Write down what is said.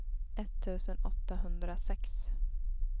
etttusen åttahundrasex